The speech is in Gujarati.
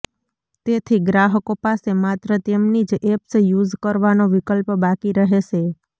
તેથી ગ્રાહકો પાસે માત્ર તેમની જ એપ્સ યુઝ કરવાનો વિકલ્પ બાકી રહેશે